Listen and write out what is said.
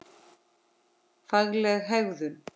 Fagleg hegðun.